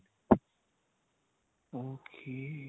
okay